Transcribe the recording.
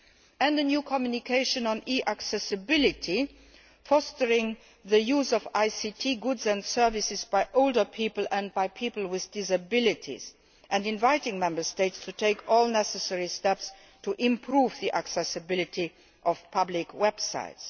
The second was the new communication on e accessibility, fostering the use of ICT goods and services by older people and by people with disabilities, and inviting Member States to take all necessary steps to improve the accessibility of public websites.